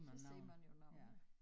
Så ser man jo nogle